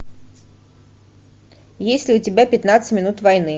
есть ли у тебя пятнадцать минут войны